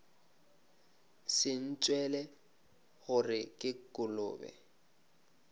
se ntšwele gore ke kolobe